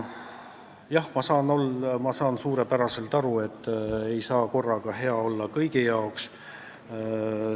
Jah, ma saan suurepäraselt aru, et ei saa korraga kõigi vastu hea olla.